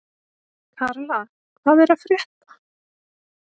Karla, hvað er að frétta?